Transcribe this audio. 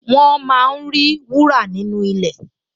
Wọ́n máa ń rí wúrà nínú ilẹ̀